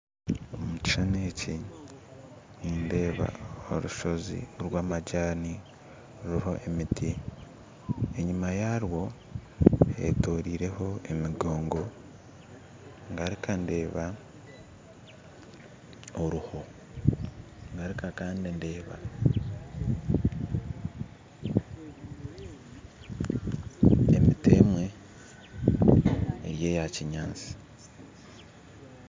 Omu kishushani eki nindeeba orushozi orwa majani ruriho emiti enyuma yarwo hetorireho emigongo ngaruka ndeeba oruho ngaruka kandi ndeeba emiti emwe eri ya kinyaatsi